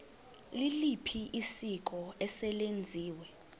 liliphi isiko eselenziwe